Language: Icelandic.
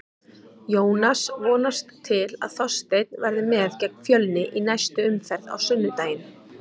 Jónas vonast til að Þorsteinn verði með gegn Fjölni í næstu umferð á sunnudaginn.